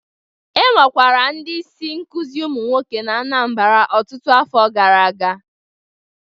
Enwekwara ndị isi nkuzi ụmụ nwoke na Anambra ọtụtụ afọ gara aga